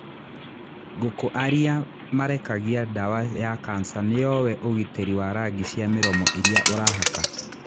Ngũkũ aria marekagia dawa ya cancer Niowe ũgiteri wa rangi cia miromo iria urahaka?